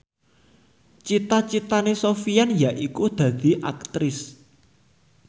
cita citane Sofyan yaiku dadi Aktris